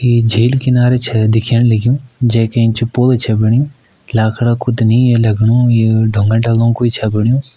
ये झील किनारा छ दिखेण लग्युं जै का एंच पुल्ल छ बण्यु लाखड़ा कू त नी ये लगणु ये डुंगा-डाला कू छ बण्यु।